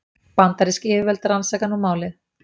Bandarísk yfirvöld rannsaka nú málið